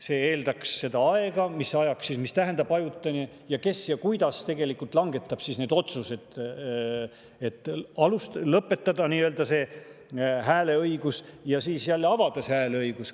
See eeldaks, mis ajaks, mida tähendab "ajutine" ning kes ja kuidas langetab otsuse lõpetada see hääleõigus ja siis jälle hääleõigus.